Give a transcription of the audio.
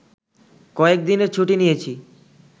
কয়েক দিনের ছুটি নিয়েছি